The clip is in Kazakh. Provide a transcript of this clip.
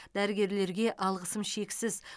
дәрігерлерге алғысым шексіз